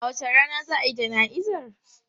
A wace rana za a yi jana'izar?